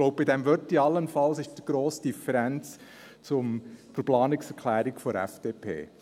Ich glaube, beim Wörtchen «allenfalls» liegt die grosse Differenz zur Planungserklärung der FDP.